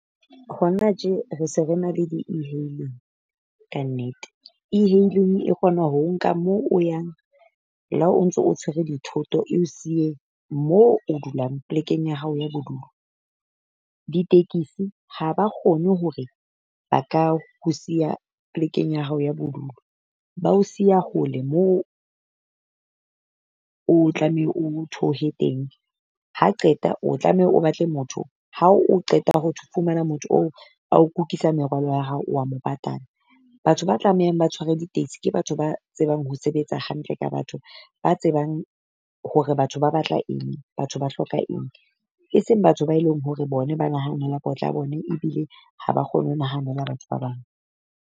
Hona tje re se re na le di-e-hailing kannete, e-hailing e kgona ho o nka moo o yang le ha o ntso o tshwere dithoto e o siye moo dulang plekeng ya hao ya bodulo. Ditekisi ha ba kgone hore ba ka ho siya plekeng ya hao ya bodulo. Ba o siya hole moo o tlameha o theohe teng, ha qeta o tlameha o batle motho ha o qeta ho fumana motho oo. Ba o kukisa merwalo ya hao wa mo patala. Batho ba tlamehang ba tshware di-taxi ke batho ba tsebang ho sebetsa hantle ka batho ba tsebang hore batho ba batla eng. Batho ba hloka eng, e seng batho ba eleng hore bone ba nahanela potla ya bona ebile ha ba kgone ho nahanela batho ba bang.